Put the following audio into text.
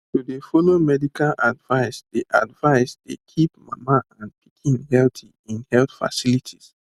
to dey follow medical advice dey advice dey keep mama and pikin healthy in health facilities